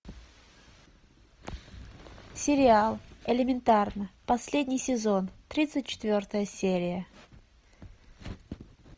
сериал элементарно последний сезон тридцать четвертая серия